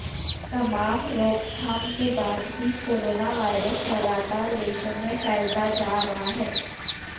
तमाम रोकथाम के बाद भी कोरोना वायरस लगातार देशों में फैलता जा रहा है